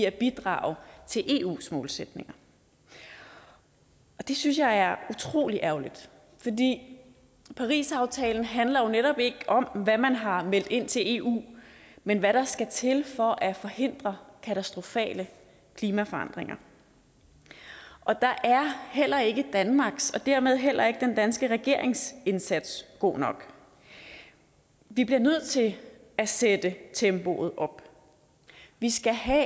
at bidrage til eus målsætninger og det synes jeg er utrolig ærgerligt for parisaftalen handler jo netop ikke om hvad man har meldt ind til eu men hvad der skal til for at forhindre katastrofale klimaforandringer og der er heller ikke danmarks og dermed heller ikke den danske regerings indsats god nok vi bliver nødt til at sætte tempoet op vi skal have